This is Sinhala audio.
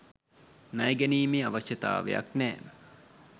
ණය ගැනීමේ අවශ්‍යතාවයක් නෑ